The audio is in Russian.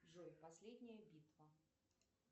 джой последняя битва